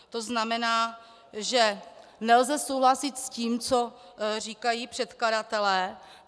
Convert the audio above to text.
To znamená, že nelze souhlasit s tím, co říkají předkladatelé.